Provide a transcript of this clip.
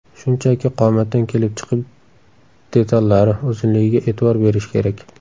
Shunchaki qomatdan kelib chiqib detallari, uzunligiga e’tibor berish kerak.